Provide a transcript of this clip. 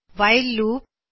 while loop ਅਤੇ